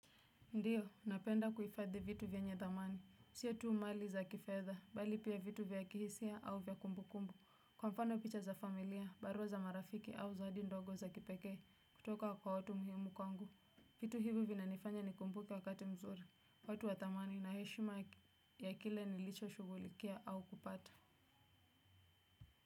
Ndiyo, napenda kuhifadhi vitu vyenye thamani. Sio tu mali za kifedha, bali pia vitu vya kihisia au vya kumbu kumbu. Kwa mfano picha za familia, barua za marafiki au zawadi ndogo za kipekee, kutoka kwa watu muhimu kwangu. Vitu hivu vinanifanya nikumbuke wakati mzuri. Watu wa thamani na heshima ya kile nilicho shugulikia au kupata.